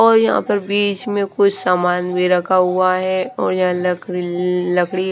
और यहां पर बीच में कुछ सामान भी रखा हुआ है और यह लक लकड़ी--